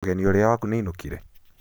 mũgenĩ ũrĩa waku nĩ ainũkire?